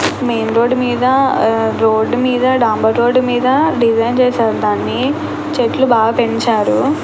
Main road మీద road మీద డాంబర్ రోడ్డు మీద డిజైన్ చేసేది దాన్ని చెట్లు బాగా పెంచారు.